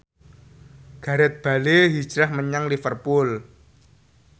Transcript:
Gareth Bale hijrah menyang Liverpool